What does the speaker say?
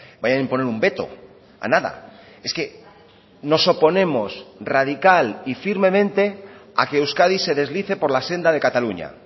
vaya a imponer un veto a nada es que nos oponemos radical y firmemente a que euskadi se deslice por la senda de cataluña